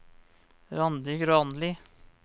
Randi Granli